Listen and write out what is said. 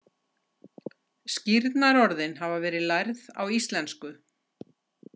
Skírnarorðin hafa verið lærð á íslensku.